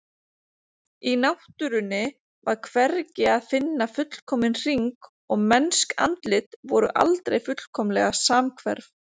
Í náttúrunni var hvergi að finna fullkominn hring og mennsk andlit voru aldrei fullkomlega samhverf.